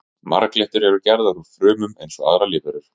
marglyttur eru gerðar úr frumum eins og aðrar lífverur